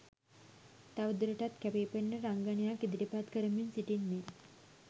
තව දුරටත් කැපී පෙනෙන රංගනයක් ඉදිරිපත් කරමින් සිටින්නේ